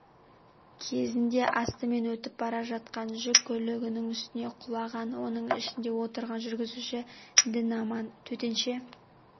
кезінде астымен өтіп бара жатқан жүк көлігінің үстіне құлаған оның ішінде отырған жүргізуші дінаман төтенше